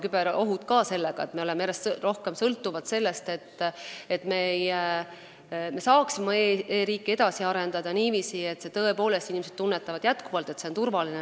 Me sõltume järjest rohkem sellest, kas me saame oma e-riiki edasi arendada niiviisi, et inimesed tõepoolest tunnetavad: see on endiselt turvaline.